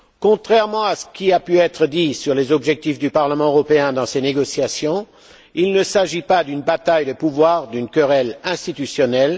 Contrairement à ce qui a pu être dit sur les objectifs du Parlement européen dans ces négociations, il ne s'agit pas d'une bataille de pouvoir ou d'une querelle institutionnelle.